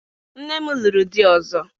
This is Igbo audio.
Nne m lụrụ di ọzọ.